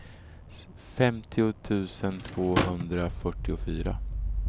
femtio tusen tvåhundrafyrtiofyra